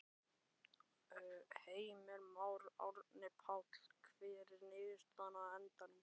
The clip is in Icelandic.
Heimir Már: Árni Páll, hver var niðurstaðan á endanum?